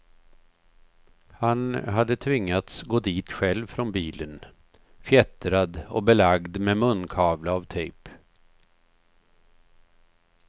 Han hade tvingats gå dit själv från bilen, fjättrad och belagd med munkavle av tejp.